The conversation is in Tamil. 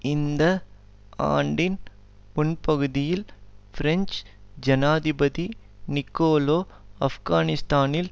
இந்த ஆண்டின் முன்பகுதில் பிரெஞ்சு ஜனாதிபதி நிக்கோலோ ஆப்கானிஸ்தானில்